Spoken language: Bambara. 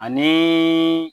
Ani